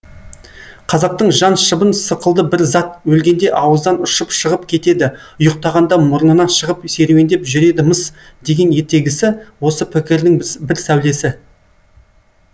қазақтың жан шыбын сықылды бір зат өлгенде ауыздан ұшып шығып кетеді ұйықтағанда мұрнынан шығып серуендеп жүреді мыс деген ертегісі осы пікірдің бір сәулесі